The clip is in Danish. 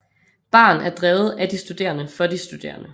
Baren er drevet af de studerende for de studerende